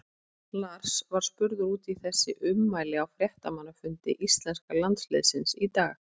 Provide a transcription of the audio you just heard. Lars var spurður út í þessi ummæli á fréttamannafundi íslenska landsliðsins í dag.